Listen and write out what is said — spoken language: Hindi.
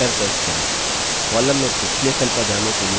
column में अगले cell पर जाने के लिए enter प्रेस करें